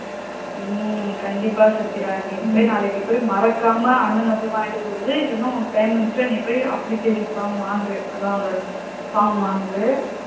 ஹம் கண்டிப்பா சத்யா நீ போய் நாளைக்கு போய் மறக்காம அண்ணா போய் வாங்கிட்டு வர சொல்லு இல்லன உனக்கு time இருந்துச்சுனா நீ போய் application form வாங்கு அத அந்த form வாங்கு